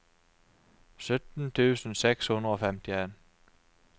sytten tusen seks hundre og femtien